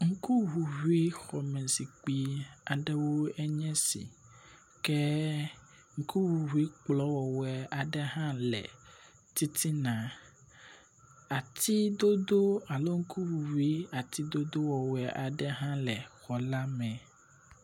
Ŋkuŋuŋuixɔmezikpui aɖewo nye si ke ŋkuŋuŋui kplɔ wɔwɔe aɖe hã le titina. Ati dodo alo ŋkuŋuŋui ati dodo wɔwɔe aɖe hã le xɔ la me.